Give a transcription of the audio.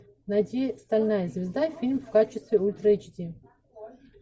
найди стальная звезда фильм в качестве ультра эйч ди